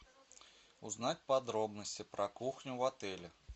узнать подробности про кухню в отеле